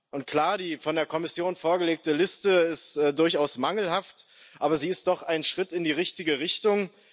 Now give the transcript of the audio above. Und klar, die von der Kommission vorgelegte Liste ist durchaus mangelhaft, aber sie ist doch ein Schritt in die richtige Richtung.